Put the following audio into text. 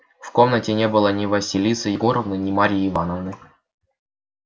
в комнате не было ни василисы егоровны ни марьи ивановны